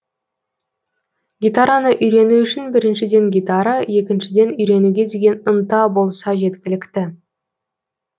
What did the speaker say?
гитараны үйрену үшін біріншіден гитара екіншіден үйренуге деген ынта болса жеткілікті